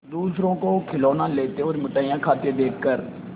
दूसरों को खिलौना लेते और मिठाई खाते देखकर